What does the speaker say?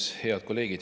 Head kolleegid!